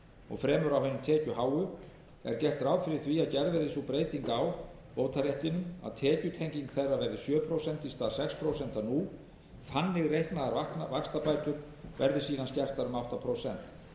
og fremur á hinum tekjuháu er gert ráð fyrir því að gerð verði sú breyting á bótaréttinum að tekjutenging þeirra verði sjö prósent í stað sex prósent nú þannig reiknaðar vaxtabætur verði síðan skertar um átta prósent þannig að bæði í